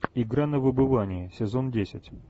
игра на выбывание сезон десять